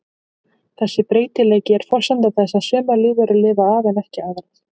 Þessi breytileiki er forsenda þess að sumar lífverur lifa af en aðrar ekki.